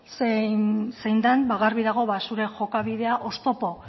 zein den garbi dago zure jokabidea oztopo